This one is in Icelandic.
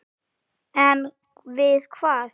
En við hvað?